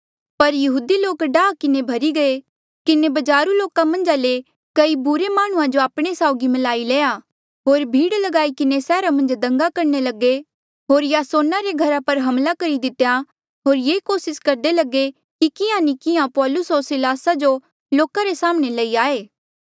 पर यहूदी लोक डाहा किन्हें भर्ही किन्हें बजारू लोका मन्झा ले कई बुरे माह्णुंआं जो आपणे साउगी म्लाई लया होर भीड़ ल्गाई किन्हें सैहरा मन्झ दंगा करणे लगे होर यासोना रे घरा पर हमला करी दितेया होर ये कोसिस करदे लगे कि किहाँ नी किहाँ पौलुस होर सिलासा जो लोका रे साम्हणें लई आये